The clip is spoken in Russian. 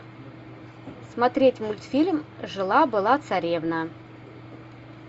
смотреть мультфильм жила была царевна